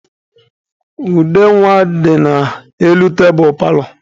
Ude nwa dị n'elu tebulu paalọ.